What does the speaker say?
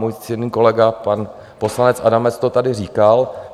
Můj ctěný kolega pan poslanec Adamec to tady říkal.